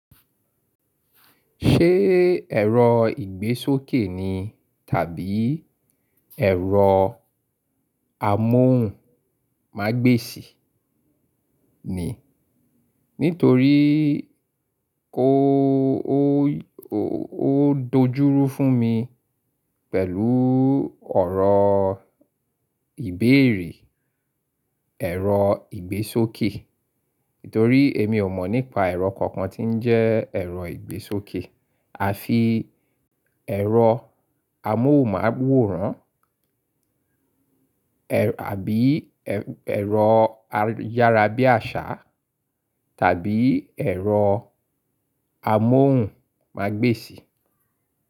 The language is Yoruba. Ṣé ẹ̀rọ ìgbésókè ni tàbí ẹ̀rọ amóhùn mágbèsì ni? Nítorí ó dòjúrú fún mi pẹ̀lú ọ̀rọ̀ ìbéèrè ẹ̀rọ ìgbésókè. Nítorí èmi ò mọ̀ nípa ẹ̀rọ kankan tí ń jẹ́ ẹ̀rọ ìgbésókè. Àfi ẹ̀rọ amóhùn-mú-àwòrán àbí ẹ̀rọ ayárabíàṣá tàbí ẹ̀rọ amóhùn-mágbèsì.